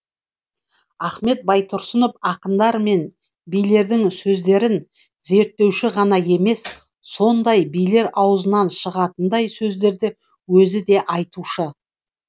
ахмет байтұрсынов ақындар мен билердің сөздерін зерттеуші ғана емес сондай билер аузынан шығатындай сөздерді өзі де айтушы